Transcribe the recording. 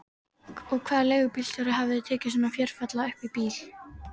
Og hvaða leigubílstjóri hefði tekið svona fjörulalla upp í bíl?